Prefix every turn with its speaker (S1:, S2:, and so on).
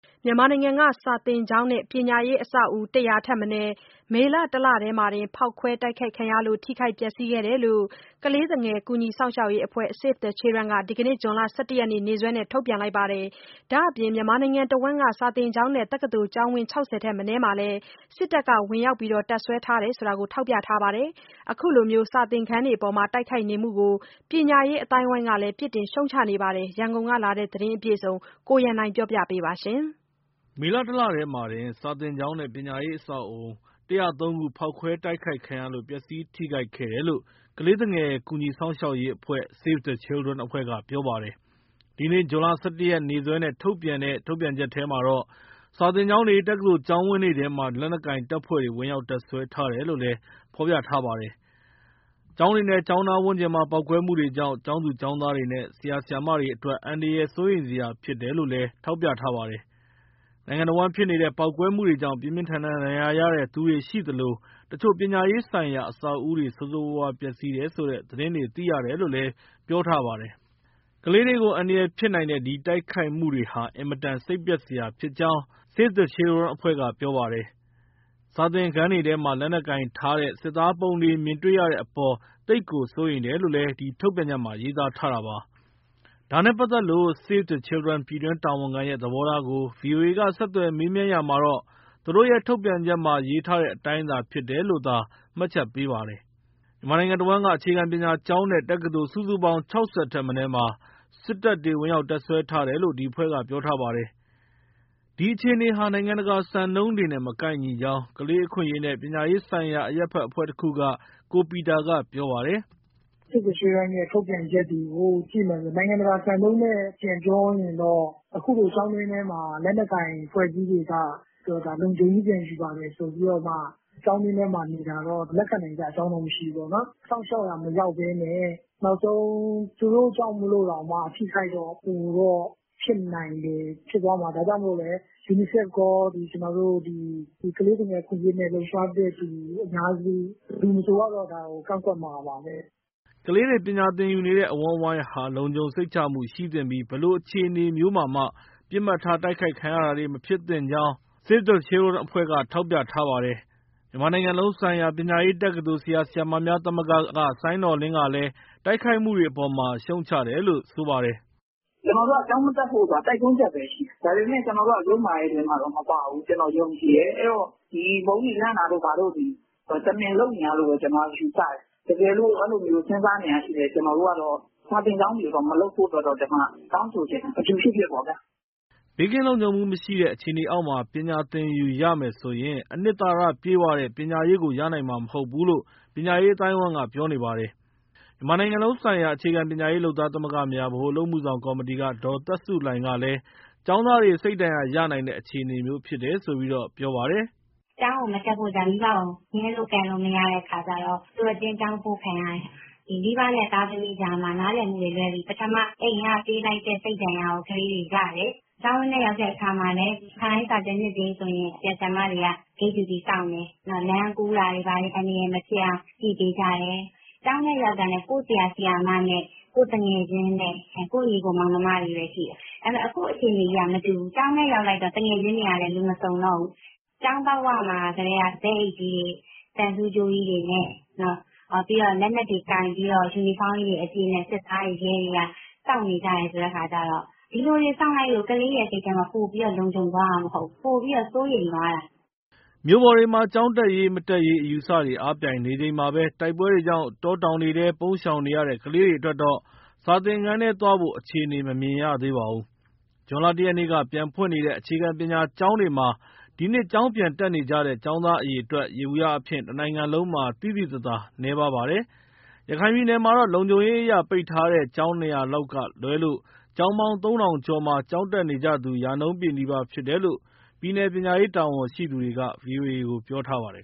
S1: မြန်မာနိုင်ငံက စာသင်ကျောင်းနဲ့ ပညာရေးအဆောက်အဦး ၁၀၀ ထက်မနည်း မေလ တလတည်းမှာတင် ဖောက်ခွဲတိုက်ခိုက်ခံရလို့ ထိခိုက် ပျက်စီးခဲ့တယ်လို့ ကလေးသူငယ် ကူညီစောင့်ရှောက်ရေးအဖွဲ့ Save the Children က ဒီနေ့ ဇွန်လ ၁၁ ရက်နေ့စွဲနဲ့ ထုတ်ပြန်လိုက်ပါတယ်။ ဒါ့အပြင် မြန်မာနိုင်ငံတဝန်းက ကျောင်းနဲ့၊ တက္ကသိုလ်ကျောင်းဝန်း ၆၀ ထက်မနည်းမှာလည်း စစ်တပ်က ဝင်ရောက်တပ်စွဲထားတယ်လို့ ထောက်ပြထားပါတယ်။ ခုလို စာသင်ခန်းတွေအပေါ် တိုက်ခိုက်နေမှုကို ပညာရေးအသိုင်းအဝိုင်းကလည်း ပြစ်တင်ရှုံ့ချနေပါတယ်။ ရန်ကုန်ကပေးပို့တဲ့ ဒီသတင်းအပြည့်အစုံကို ကိုရန်နိုင်ကပြောပြပါမယ်။ မေလ ၁ လထဲမှာတင် စာသင်ကျောင်းနဲ့ ပညာရေးအဆောက်အဦး ၁၀၃ ခု ဖောက်ခွဲတိုက်ခိုက်ခံရလို့ ပျက်စီးထိခိုက်ခဲ့တယ်လို့ ကလေးသူငယ် ကူညီစောင့်ရှောက်ရေးအဖွဲ့ Save the Children ကပြောပါတယ်။ ဒီနေ့ ဇွန်လ ၁၁ ရက် နေ့စွဲနဲ့ ထုတ်ပြန်တဲ့ ထုတ်ပြန်ချက်မှာ စာသင်ကျောင်းတွေ တက္ကသိုလ်ကျောင်းဝန်းတွေထဲမှာ လက်နက်ကိုင် တပ်ဖွဲ့တွေ ဝင်ရောက်တပ်စွဲထားတယ်လို့လည်း ဖော်ပြထားပါတယ်။ ကျောင်းတွေနဲ့ ကျောင်းနားဝန်းကျင်မှာ ပေါက်ကွဲမှုတွေကြောင့် ကျောင်းသူကျောင်းသားတွေနဲ့ ဆရာ ဆရာမတွေအတွက် အန္တရာယ် စိုးရိမ်စရာဖြစ်တယ်လို့လည်း ထောက်ပြထားပါတယ်။ နိုင်ငံတဝန်းဖြစ်နေတဲ့ ပေါက်ကွဲမှုတွေကြောင့် ပြင်းပြင်းထန်ထန် ဒဏ်ရာရသူတွေရှိသလို တချို့ ပညာရေးဆိုင်ရာ အဆောက်အဦတွေ ဆိုးဆိုးရွားရွား ပျက်စီးတယ်ဆိုတဲ့သတင်းတွေ သိရတယ်လို့လည်း ပြောထားပါတယ်။ ကလေးတွေကို အန္တရာယ်ဖြစ်နိုင်တဲ့ ဒီတိုက်ခိုက်မှုတွေဟာ အင်မတန် စိတ်ပျက်စရာဖြစ်ကြောင်း Save the Children ကပြောပါတယ်။ စာသင်ခန်းတွေထဲမှာ လက်နက်ကိုင်ထားတဲ့ စစ်သားပုံတွေ မြင်တွေ့ရတဲ့အပေါ် သိပ်ကို စိုးရိမ်တယ်လို့လည်း ဒီထုတ်ပြန်ချက်မှာ ရေးသားထားတာပါ။ ဒါနဲ့ပတ်သက်လို့ Save the Children ပြည်တွင်းတာဝန်ခံရဲ့ သဘောထားကို VOA က ဆက်သွယ် မေးမြန်းရာမှာတော့ သူတို့ရဲ့ ထုတ်ပြန်ချက်မှာ ရေးထားတဲ့အတိုင်း ဖြစ်တယ်လို့သာ မှတ်ချက်ပေးပါတယ်။ မြန်မာနိုင်ငံတဝန်းက အခြေခံပညာကျောင်းနဲ့ တက္ကသိုလ် စုစုပေါင်း ၆၀ ထက်မနည်းမှာ စစ်တပ်တွေ ဝင်ရောက် တပ်စွဲထားတယ်လို့ ဒီအဖွဲ့က ပြောထားပါတယ်။ ဒီအခြေအနေဟာ နိုင်ငံတကာစံနှုန်းတွေနဲ့ မကိုက်ညီကြောင်း ကလေးအခွင့်အရေးနဲ့ ပညာရေးဆိုင်ရာ အရပ်ဘက်အဖွဲ့တခုက ကိုပီတာက ပြောပါတယ်။
S2: “Save the Children ရဲ့ ထုတ်ပြန်ချက်တွေကို ကြည့်မယ်ဆိုရင် နိုင်ငံတကာစံနှုန်းနဲ့ ပြောရင်တော့ အခုလိုကျောင်းထဲမှာ လက်နက်ကိုင် အဖွဲ့အစည်းတွေက လုံခြုံရေး ပြန်ယူပါတယ် ဆိုပြီးတော့မှ ကျောင်းတွင်းထဲမှာ နေတာတော့ လက်ခံနိုင်စရာ မရှိဘူးပေါ့။ စောင့်ရှောက်ရာ မရောက်ဘဲနဲ့ နောက်ဆုံး သူတို့ကြောင့်မို့တောင်မှ အထိအခိုက် ပိုတော့ဖြစ်နိုင်တယ်၊ ဖြစ်သွားမှာ။ ဒါကြောင့်မို့လည်း UNICEF ရော ကျနော်တို့ ကလေးသူငယ် အခွင့်အရေးနဲ့ လှုပ်ရှားသူ ဘယ်သူမဆိုကတော့ ဒါကို ကန့်ကွက်မှာပါပဲ။”
S1: ကလေးတွေ ပညာသင်ယူနေတဲ့ အဝန်းအဝိုင်းဟာ လုံခြုံစိတ်ချမှုရှိသင့်ပြီး ဘယ်လိုအခြေအနေမျိုးမှာမှ ပစ်မှတ်ထား တိုက်ခိုက်ခံရတာတွေ မဖြစ်သင့်ကြောင်း Save the Children ကထောက်ပြထားပါတယ်။ မြန်မာနိုင်ငံလုံးဆိုင်ရာ ပညာရေးတက္ကသိုလ် ဆရာ၊ ဆရာမများ သမဂ္ဂက စိုင်းနော်လင်းကလည်း တိုက်ခိုက်မှုတွေအပေါ် ရှုံ့ချတယ်လို့ ပြောပါတယ်။
S2: “ကျနော်တို့က ကျောင်းမတက်ဖို့ဆိုတာ တိုက်တွန်းချက်ပဲရှိတာ၊ ဒါပေမဲ့ ကျနော်တို့က ယုတ်မာတဲ့အထဲမှာတော့ မပါဘူး။ ကျနော် ယုံကြည်တယ်။ အဲဒီတော့ ဗုံးတွေလန့်တာတို့ ဘာတို့သည် တမင်လုပ်နေတာလို့ပဲ ကျနော်က ယူဆတယ်။ တကယ်လို့ အဲလိုစဉ်းစားနေတာရှိလည်း ကျနော်တို့ကတော့ စာသင်ကျောင်းတွေကို မလုပ်ဖို့အတွက်တော့ တောင်းဆိုချင်တယ် ဘယ်သူပဲ ဖြစ်ဖြစ်ပေါ့ဗျာ။”
S1: ဘေးကင်းလုံခြုံမှုမရှိတဲ့ အခြေအနေအောက်မှာ ပညာသင်ယူရမယ်ဆိုရင် အနှစ်သာရပြည့်ဝတဲ့ ပညာရေးကို ရနိုင်မှာ မဟုတ်ဘူးလို့ ပညာရေးအသိုင်းအဝိုင်းက ပြောနေပါတယ်။ မြန်မာနိုင်ငံလုံးဆိုင်ရာ အခြေခံပညာရေးလုပ်သားသမဂ္ဂများ ဗဟိုအလုပ်အမှုဆောင် ကော်မတီက ဒေါ်သက်ဆုလှိုင် ကလည်း ကျောင်းသားတွေ စိတ်ဒဏ်ရာရနိုင်တဲ့ အခြေအနေမျိုးဖြစ်တယ်လို့ ပြောပါတယ်။
S3: “ကျောင်းမတက်ဖို့ မိဘကို ငြင်းလို့ကန့်လို့ မရတဲ့အခါကျတော့ သူတို့ အတင်း ကျောင်းပို့ခံရတယ်။ မိဘနဲ့ သားသမီးကြားမှာ နားလည်မှုလွဲပြီး ပထမ အိမ်ကပေးလိုက်တဲ့ စိတ်ဒဏ်ရာကို ကလေးတွေရတယ်။ ကျောင်းဝင်းထဲ ရောက်တဲ့အခါမှာလည်း ခါတိုင်းစာသင်နှစ်တွေဆိုရင် ဆရာ၊ ဆရာမတွေက ဂိတ်ဂျူတီစောင့်တယ်။ နောက် လမ်းကူးတာတွေ ဘာတွေ အန္တရာယ်မဖြစ်အောင် ကြည့်ပေးကြတယ်။ ကျောင်းထဲရောက်တာနဲ့ ကိုယ့်ဆရာ၊ ဆရာမနဲ့ ကိုယ့်သူငယ်ချင်းနဲ့ ကိုယ့်ညီအစ်ကို မောင်နှမတွေပဲရှိတယ်။ အခုအခြေအနေကြီးက မတူဘူး၊ ကျောင်းထဲရောက်လိုက်တော့ သူငယ်ချင်းတွေကလည်း လူမစုံတော့ဘူး။ ကျောင်းပေါက်ဝမှာကတည်းက သဲအိတ်ကြီးတွေ၊ သံဆူးကြိုးကြီးတွေနဲ့ ပြီးတော့ လက်နက်တွေ ကိုင်ပြီးတော့ ယူနီဖောင်းအပြည့်နဲ့ စစ်သားတွေ၊ ရဲတွေက စောင့်နေကြတယ် ဆိုတဲ့အခါကျတော့ ဒီလိုတွေစောင့်လိုက်လို့ ကလေးရဲ့ စိတ်ထဲမှာ ပိုပြီးလုံခြုံသွားတာ မဟုတ်ဘူး၊ ပိုပြီး စိုးရိမ်သွားတာ။
S1: ” မြို့ပေါ်တွေမှာ ကျောင်းတက်ရေး၊ မတက်ရေး အယူအဆတွေ အားပြိုင်နေချိန်မှာ၊ တိုက်ပွဲတွေကြောင့် တောတောင်တွေထဲ ပုန်းရှောင်နေရတဲ့ ကလေးတွေအတွက်တော့ စာသင်ခန်းထဲသွားဖို့ အခြေအနေ မမြင်ရသေးပါဘူး။ ဇွန်လ ၁ ရက်နေ့က ပြန်ဖွင့်နေတဲ့ အခြေခံပညာကျောင်းတွေမှာ ဒီနှစ်ကျောင်းပြန်တက်နေကြတဲ့ ကျောင်းသားအရေအတွက် ယေဘုယျအားဖြင့် တနိုင်ငံလုံးမှာ သိသိသာသာ နည်းပါးပါတယ်။ ရခိုင်ပြည်နယ်မှာတော့ လုံခြုံရေးအရ ပိတ်ထားတဲ့ ကျောင်း ၂၀၀ လောက်ကလွဲလို့ ကျောင်းပေါင်း ၃,၀၀၀ ကျော်မှာ ကျောင်းတက်နေကြသူ ရာနှုန်းပြည့်နီးပါးဖြစ်တယ်လို့ ပြည်နယ်ပညာရေးတာဝန်ရှိသူက ဗွီအိုအေကို ပြောထားပါတယ်